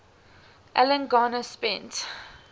alan garner spent